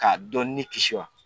K'a dɔ ni kisi wa